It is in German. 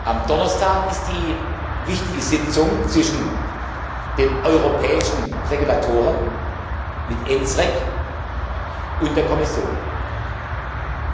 Am Donnerstag findet die wichtige Sitzung zwischen den europäischen Regulatoren mit ENSREG und der Kommission statt.